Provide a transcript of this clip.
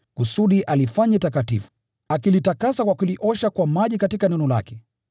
kusudi alifanye takatifu, akilitakasa kwa kuliosha kwa maji katika Neno lake,